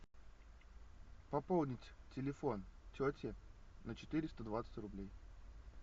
пополнить телефон тети на четыреста двадцать рублей